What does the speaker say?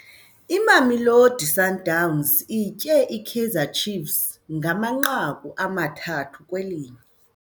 Imamelodi Sundowns itye iKaizer Chiefs ngamanqaku amathathu kwelinye.